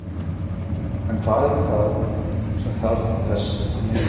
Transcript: En hvað er það sem þarf til þess að meika það?